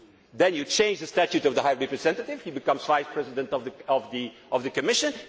package. Then you change the statute of the High Representative he becomes Vice President of the Commission.